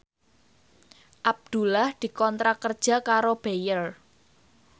Abdullah dikontrak kerja karo Bayer